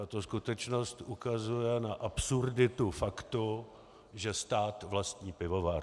Tato skutečnost ukazuje na absurditu faktu, že stát vlastní pivovar.